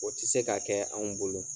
O tɛ se ka kɛ anw bolo.